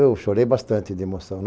Eu chorei bastante de emoção.